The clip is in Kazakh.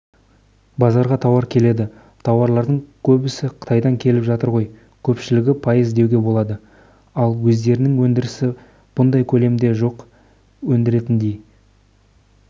базарға тауар келеді тауарлардың көбісі қытайдан келіп жатыр ғой көпшілігі пайыз деуге болады ал өздерінің өндірісі бұндай көлемде жоқ өндіретіндей